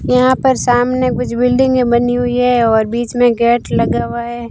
यहां पर सामने कुछ बिल्डिंगे बनी हुई है और बीच में गेट लगा हुआ है।